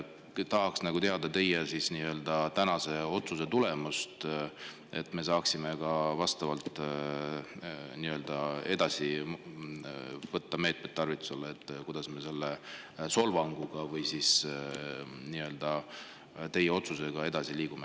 " Tahaks teada teie tänase otsuse tulemust, et me saaksime võtta tarvitusele meetmed, kuidas me pärast teie otsust edasi liigume.